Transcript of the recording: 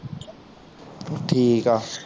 ਠੀਕ ਆ